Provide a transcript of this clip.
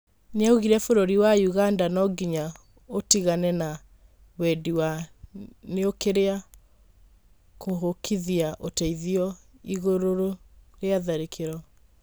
Nĩaugire bũrũri wa ũganda nonginya ĩũtigane na Wendi wa nĩukiria kũhukithia ũteithio igũrũrĩa tharĩkĩro.